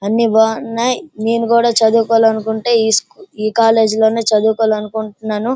అన్ని బాగున్నాయ్ నేను కూడా చదువుకోవాలనుకుంటే ఈ కాలేజ్ లోనే చదువుకోవాలనుకుంటున్నాను.